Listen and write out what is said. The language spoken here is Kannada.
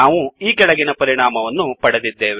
ನಾವು ಈಕೆಳಗಿನ ಪರಿಣಾಮವನ್ನು ಪಡೆದಿದ್ದೇವೆ